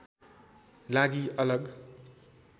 लागि अलग